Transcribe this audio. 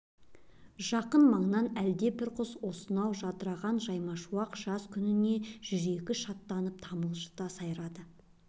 жақын маңнан әлдебір құс осынау жадыраған жаймашуақ жаз күніне жүрегі шаттанып тамылжыта сайрайды